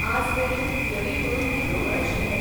आज मेरेन थियरी म्हणून हें खबर आशिल्लें.